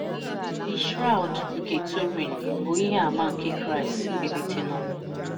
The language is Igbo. The Shroud nke Turin bụ ìhè àmà nke Kraịst Mbilítè n’Ọnwụ!